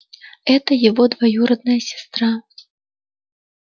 это его двоюродная сестра